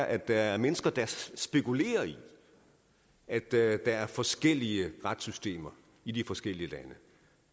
at der er mennesker der spekulerer i at der er forskellige retssystemer i de forskellige lande at